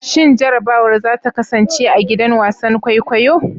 Shin jarrabawar za ta kasance a gidan wasan kwaikwayo?